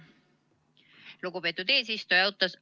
Lugupeetud eesistuja!